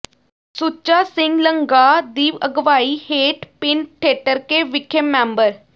ਸੁੱਚਾ ਸਿੰਘ ਲੰਗਾਹ ਦੀ ਅਗਵਾਈ ਹੇਠ ਪਿੰਡ ਠੇਠਰਕੇ ਵਿਖੇ ਮੈਂਬਰ